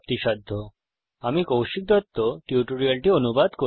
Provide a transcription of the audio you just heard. http spoken tutorialorgnmeict intro আমি কৌশিক দত্ত এই টিউটোরিয়ালটি অনুবাদ করেছি